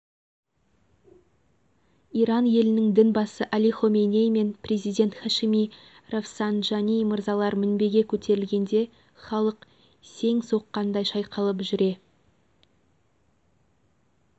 иран елінің дін басы әли хоменей мен президент хашеми рафсанджани мырзалар мінбеге көтерілгенде халық сең соққандай шайқалып жүре